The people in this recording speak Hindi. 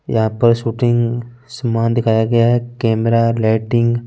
यहा पर शूटिंग सामान दिखाया गया है कैमरा लाइटिंग --